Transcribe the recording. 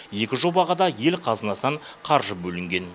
екі жобаға да ел қазынасынан қаржы бөлінген